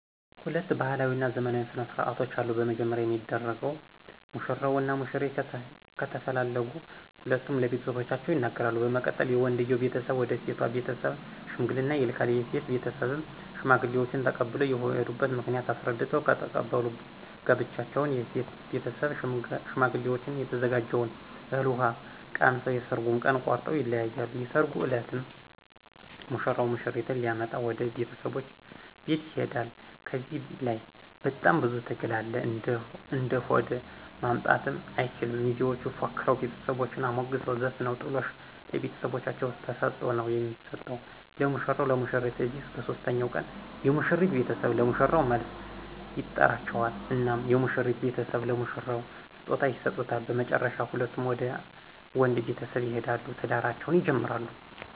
ሁለት ባህላዊ እና ዘመናዊ ስነ ስርዓቶች አሉ። በመጀመሪያ የሚደረገው ሙሽራው እና ሙሽሪት ከተፈላለጉ ሁለቱም ለቤተሰቦቻቸው ይነገራሉ በመቀጠል የወንድየው ቤተሰብ ወደ ሴቶ ቤተስብ ሽምግልና ይልካል የሴቶ ቤተሰብም ሽማግሌዎችን ተቀብሎ የሆዱበት ምክንያት አሰረድተው ከተቀበሉ ጋብቻውን ከሴቶ ቤተሰብ ሸማግሌዎችን የተዘጋጀውን እህል ውሃ ቀምሰው የሠራጉን ቀን ቆረጠው ይለያያሉ። የሰራጉ እለትም ሙሽራው ሙሽሪትን ሊመጣ ወደ ቤተሰቦቻ ቤት ይሆዳ ከዚህ ለይ በጣም ብዙ ትግል አለ እንደሆደ ማምጣትም አይችል ሚዜዎች ፎክረው ቤተሰቦቻን አሞግሰው ዘፍነው ጥሎሽ ለቤተሰቦቻ ተሰጦ ነው የሚሰጠው ለሙሽራው ሙሽሪትን ከዚያ በሦስተኛው ቀን የሙሽሪት ቤተሰብ ለሙሽራው መልስ ይጠራቸዋል እናም የሙሽሪት ቤተሰብ ለሙሽራው ስጦታ ይሰጡታ በመጨረሻ ሁለቱም ወደ ወንድ ቤተሰብ ይሆዳሉ ትዳራቸውን ይጀምራሉ።